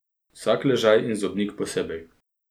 Vsak ležaj in zobnik posebej.